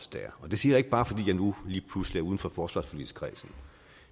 det siger jeg ikke bare fordi jeg nu lige pludselig er uden for forsvarsforligskredsen